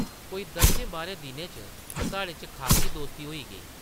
कोई दस्सें-बाह्रें दिनें च साढ़े च खासी दोस्ती होई गेई ।